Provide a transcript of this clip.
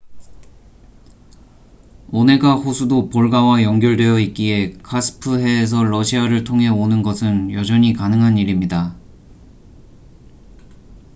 오네가 호수도 볼가와 연결되어 있기에 카스프해에서 러시아를 통해 오는 것은 여전히 가능한 일입니다